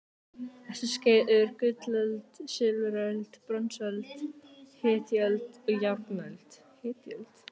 Þessi skeið eru gullöld, silfuröld, bronsöld, hetjuöld og járnöld.